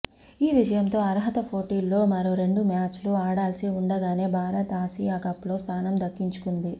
ఈ విజయంతో అర్హత పోటీల్లో మరో రెండు మ్యాచ్లు ఆడాల్సి ఉండగానే భారత్ ఆసియాకప్లో స్ధానం దక్కించుకుంది